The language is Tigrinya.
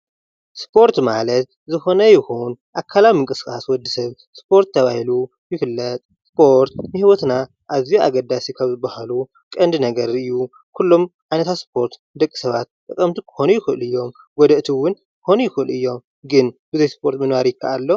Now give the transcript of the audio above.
ስፖርት ማለት ዝኮነ ይኩን አካሊዊ ምንቅስቃስ ወድ ሰብ ስፖርት ተባሂሉ ይግለፅ። ስፖርት ንሂወትና እዝዩ እገዳሲ ካብ ዝበሃሉ ቀንዲ ነገር እዩ ።ኩሎም ዓይነታት ስፖርት ንደቂ ሰባት ጠቀምቲ ክኾኑ ይክእሉ እዮም ጎዳእቲ እውን ክኾኑ ይክእሉ እዮም ።ግን ብዘይ ስፖርት ምንባር ይከአል ዶ ?